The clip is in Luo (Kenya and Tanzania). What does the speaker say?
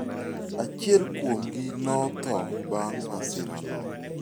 Achiel kuomgi notho bang' masirano.